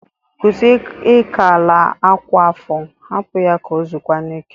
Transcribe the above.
Kwusi ịkọ ala a kwa afọ. Hapụ ya ka o zokwanụ ike!